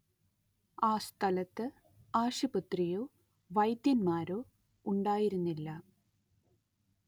ആ സ്ഥലത്ത് ആശുപത്രിയോ വൈദ്യന്മാരോ ഉണ്ടായിരുന്നില്ല